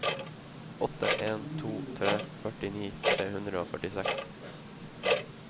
åtte en to tre førtini tre hundre og førtiseks